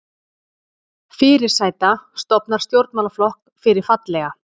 Fyrirsæta stofnar stjórnmálaflokk fyrir fallega